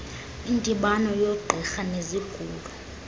indibano yoogqirha bezigulo